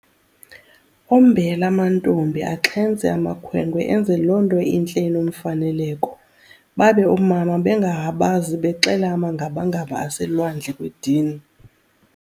Ombele amantombi axhentse amakhwenkwe enze lonto intle inomfaneleko, babe oomama bengahabazi bexela amangabangaba ase lwandle kwedini!